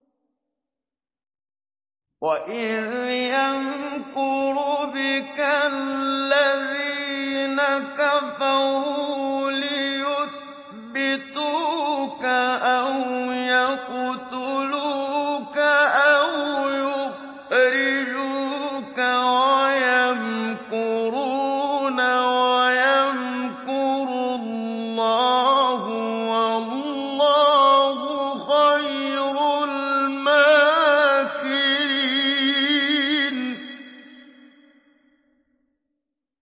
وَإِذْ يَمْكُرُ بِكَ الَّذِينَ كَفَرُوا لِيُثْبِتُوكَ أَوْ يَقْتُلُوكَ أَوْ يُخْرِجُوكَ ۚ وَيَمْكُرُونَ وَيَمْكُرُ اللَّهُ ۖ وَاللَّهُ خَيْرُ الْمَاكِرِينَ